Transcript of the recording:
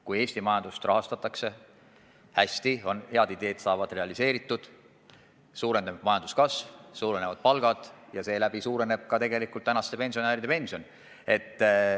Kui Eesti majandust rahastatakse hästi, kui head ideed saavad realiseeritud, siis suureneb majanduskasv, suurenevad palgad ja tänu sellele suureneb ka praeguste pensionäride pension.